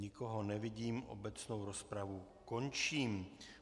Nikoho nevidím, obecnou rozpravu končím.